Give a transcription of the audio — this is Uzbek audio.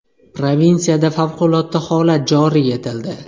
Provinsiyada favqulodda holat joriy etildi.